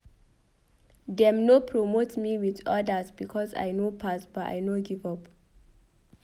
Dem no promote me wit odas because I no pass but I no give up.